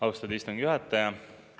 Austatud istungi juhataja!